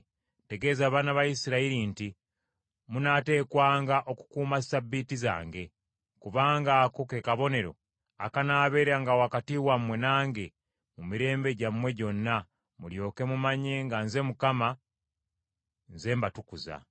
“Tegeeza abaana ba Isirayiri nti, Munaateekwanga okukuuma Ssabbiiti zange, kubanga ako ke kabonero akanaabeeranga wakati wammwe nange mu mirembe gyammwe gyonna, mulyoke mumanye nga Nze Mukama , Nze mbatukuza.